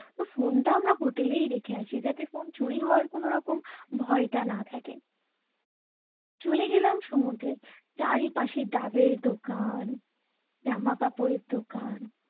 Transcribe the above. ফোনটা আমরা হোটেলেই রেখে আসি যাতে ফোন চুরি হওয়ার কোনো রকম ভয়টা না থাকে চলে গেলাম সমুদ্রে চারিপাশে ডাবের দোকান জামা কাপড়ের দোকান